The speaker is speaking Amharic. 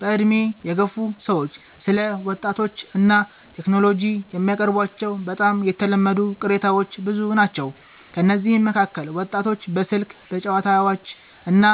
በዕድሜ የገፉ ሰዎች ስለ ወጣቶች እና ቴክኖሎጂ የሚያቀርቧቸው በጣም የተለመዱ ቅሬታዎች ብዙ ናቸው። ከእነዚህ መካከል ወጣቶች በስልክ፣ በጨዋታዎች እና